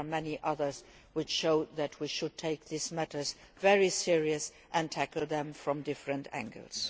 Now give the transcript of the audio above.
There are many others which show that we should take these matters very seriously and tackle them from different angles.